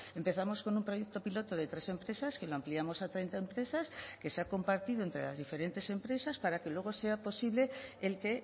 empezamos con un proyecto piloto de tres empresas que lo ampliamos a treinta empresas que se ha compartido entre las diferentes empresas para que luego sea posible el que